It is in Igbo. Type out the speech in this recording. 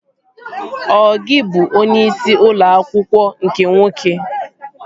Ọ gị bụ onyeisi ụlọ akwụkwọ nke nwoke?